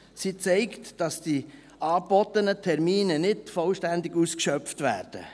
Sie zeigt, dass die angebotenen Termine nicht vollständig ausgeschöpft werden.